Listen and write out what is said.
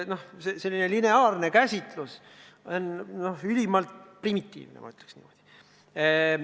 Puhtlineaarne käsitlus on ülimalt primitiivne, ma ütleks nii.